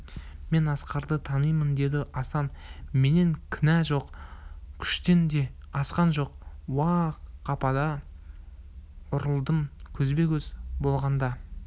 мен асқарды танимын деді асан менен кінә жоқ күштен де асқан жоқ-ау қапыда ұрылдым көзбе-көз болғанда